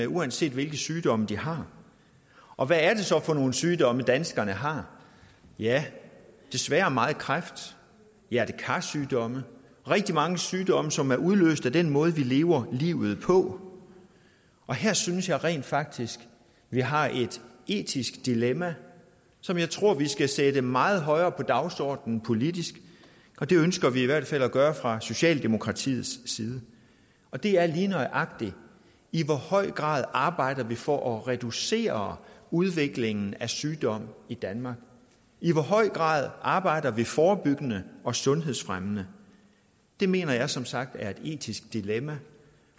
uanset hvilke sygdomme de har og hvad er det så for nogle sygdomme danskerne har ja desværre meget kræft hjerte kar sygdomme rigtig mange sygdomme som er udløst af den måde vi lever livet på og her synes jeg rent faktisk at vi har et etisk dilemma som jeg tror vi skal sætte meget højere på dagsordenen politisk det ønsker vi i hvert fald at gøre fra socialdemokratiets side og det er lige nøjagtig i hvor høj grad arbejder vi for at reducere udviklingen af sygdom i danmark i hvor høj grad arbejder vi forebyggende og sundhedsfremmende det mener jeg som sagt er et etisk dilemma